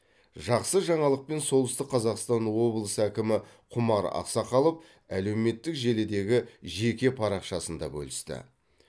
жақсы жаңалықпен солтүстік қазақстан облысы әкімі құмар ақсақалов әлеуметтік желідегі жеке парақшасында бөлісті